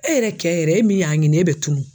E yɛrɛ cɛ yɛrɛ e min y'a ɲini e bɛ tunu